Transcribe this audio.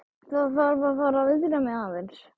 Þarf að fara að viðra mig aðeins.